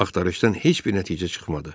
Axtarışdan heç bir nəticə çıxmadı.